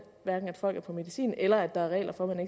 folk er på medicin eller at der er regler for